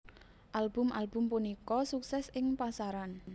Album album punika sukses ing pasaran